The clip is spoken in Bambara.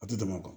A tɛ tɛmɛ o kan